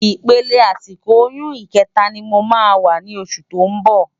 Ipélé àsikó óyùn ikètá ni má wá ni ósù tó n bò